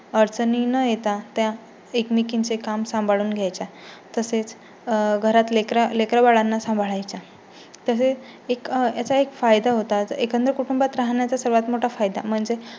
अडचणी न येता त्या एकमेकींचे काम सांभाळून घ्यायच्या. तसेच घरात लेकरं बाळांना सांभाळायच्या. तसेच एक याचा एक फायदा होता एकत्र कुटुंबात राहण्याचा सर्वात मोठा फायदा